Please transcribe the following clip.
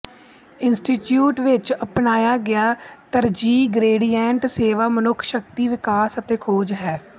institute ਵਿਚ ਅਪਣਾਇਆ ਗਿਆ ਤਰਜੀਹ ਗਰੇਡੀਐਂਟ ਸੇਵਾ ਮਨੁੱਖ ਸ਼ਕਤੀ ਵਿਕਾਸ ਅਤੇ ਖੋਜ ਹੈ